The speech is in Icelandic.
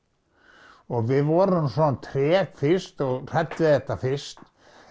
og við vorum svona treg fyrst og hrædd við þetta fyrst